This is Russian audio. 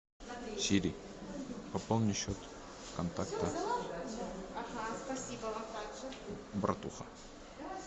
сири пополни счет контакта братуха